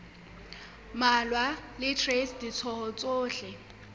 mmalwa le traste ditho tsohle